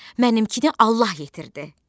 Mənimkini Allah yetirdi.